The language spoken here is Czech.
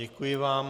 Děkuji vám.